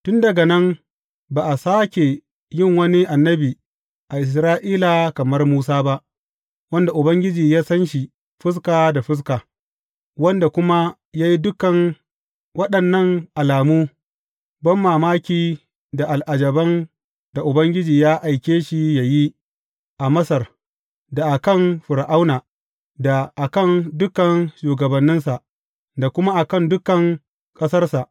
Tun daga nan ba a sāke yin wani annabi a Isra’ila kamar Musa ba, wanda Ubangiji ya san shi fuska da fuska, wanda kuma ya yi dukan waɗannan alamu banmamaki da al’ajaban da Ubangiji ya aike shi yă yi a Masar, da a kan Fir’auna, da a kan dukan shugabanninsa, da kuma a kan dukan ƙasarsa.